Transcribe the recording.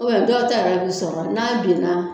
dɔw ta yɛrɛ bɛ sɔrɔ n'a binna